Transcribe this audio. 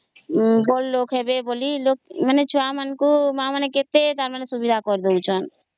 ବଡ ଲୋକ ହେବେ ବୋଲି ଛୁଆ ମାନଙ୍କୁ ତାଙ୍କ ମା ବାପା କେତେ ସୁବିଧା କରି ଦଉ ଛନ